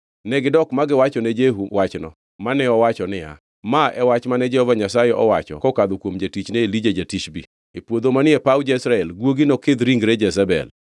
Negidok ma giwachone Jehu wachno, mane owacho niya, “Ma e wach mane Jehova Nyasaye owacho kokadho kuom jatichne Elija ja-Tishbi: E puodho manie paw Jezreel guogi nokidh ringre Jezebel.